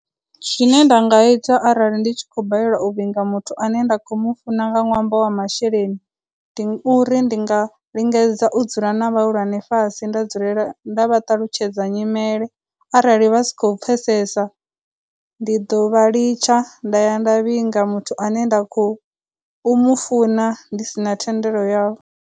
Zwine nda nga ita arali ndi tshi khou balelwa u vhinga muthu a ne nda khou mu funa nga ṅwambo wa masheleni, ndi uri ndi nga lingedza u dzula na vhahulwane fhasi nda dzulela nda vha ṱalutshedza nyimele, arali vha si khou pfesesa, ndi dovha litsha nda ya nda vhinga muthu ane nda khou u mu funa ndi sina thendelo yavho.